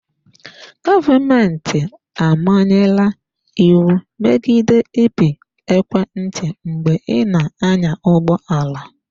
Gọọmentị amanyela iwu megide ịpị ekwentị mgbe ị na-anya ụgbọ ala.